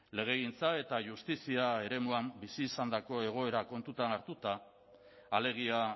legegintza eta justizia eremuan bizi izandako egoera kontuan hartuta alegia